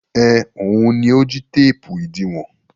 Ẹn, òun ni ó jí téépù ìdiwọn.